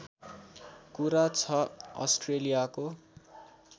कुरा छ अस्ट्रेलियाको